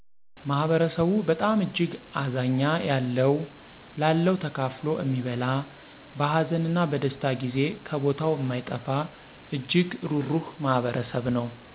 ማህበረሰቡ በጣም እጅግ አዛኛ ያለው ለለው ተካፋሎ እሚበላ በሀዘን እነ በደስታ ጊዜ ከቦታው እማይጠፋ እጅግ ሩሩህ ማህበረሰብ ነው።